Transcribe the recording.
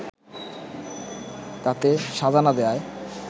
তাতে সাজা না দেওয়ায়